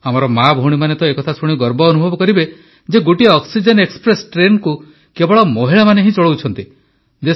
ଆମର ମାଭଉଣୀମାନେ ତ ଏ କଥା ଶୁଣି ଗର୍ବ ଅନୁଭବ କରିବେ ଯେ ଗୋଟିଏ ଅକ୍ସିଜେନ ଏକ୍ସପ୍ରେସ୍ ଟ୍ରେନକୁ କେବଳ ମହିଳାମାନେ ହିଁ ଚଳାଉଛନ୍ତି